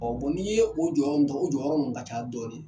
n'i ye o jɔyɔrɔ n ta o jɔyɔrɔ nun ka ca dɔɔni.